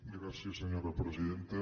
gràcies senyora presidenta